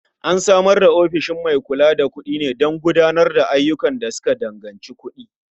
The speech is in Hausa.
An tsara ofishin mai kula da kuɗi ne don gudanar da ayyukan da suka danganci kuɗi.